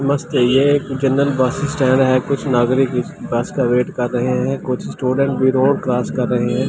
मस्‍त है ये एक जनरल बस स्‍टैंड है कुछ नागरिक इस बस का वेट कर रहे हैं कुछ स्‍टूडेंट भी रोड क्रॉस कर रहे हैं ।